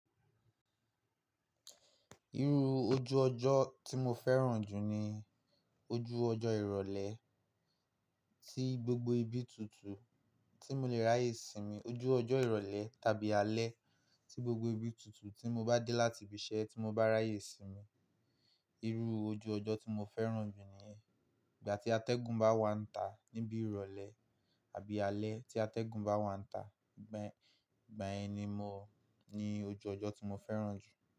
Irú ojú ọjọ́ tí mo fẹ́ràn jù ni ojú ọjọ́ ìrọ̀lẹ́ tí gbogbo ibi tutù tí mo le ráyè sinmi. Ojú ọjọ́ ìrọ̀lẹ́ tàbí alẹ́ tí gbogbo ibi tutù tí mo bá dé láti ibi iṣẹ́ tí mo bá ráyè sinmi. Irú ojú ọjọ́ tí mo fẹ́ràn jù niyen igba tí atẹ́gùn bá wà níta níbi ìrọ̀lẹ́ àbí alẹ́ tí atẹ́gùn bá wà níta. Igbayen ni ojú ọjọ́ tí mo fẹ́ràn jù.